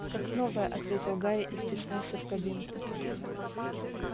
как новая ответил гарри и втиснулся в кабинку